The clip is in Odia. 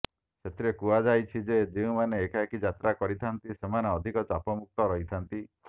ସେଥିରେ କୁହାଯାଇଛି ଯେ ଯେଉଁମାନେ ଏକାକୀ ଯାତ୍ରା କରିଥାନ୍ତି ସେମାନେ ଅଧିକ ଚାପମୁକ୍ତ ରହିଥାନ୍ତି